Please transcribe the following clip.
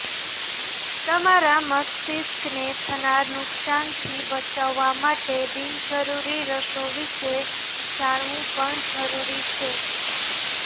તમારા મસ્તિકને થનાર નુકસાનથી બચાવવા માટે બિનજરૂરી રસો વિશે જાણવુ પણ જરૂરી છે